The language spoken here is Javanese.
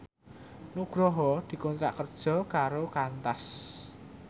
Nugroho dikontrak kerja karo Qantas